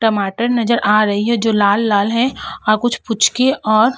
टमाटर नजर आ रही है जो लाल-लाल हैं और कुछ पूचके और --